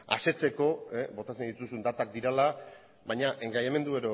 asetzeko botatzen dituzun datak direla baina engainamendu